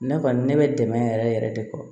Ne kɔni ne bɛ dɛmɛ yɛrɛ yɛrɛ de kɔ